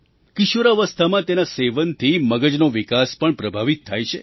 કિશોરાવસ્થામાં તેના સેવનથી મગજનો વિકાસ પણ પ્રભાવિત થાય છે